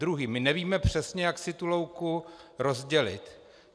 Druhý: my nevíme přesně, jak si tu louku rozdělit.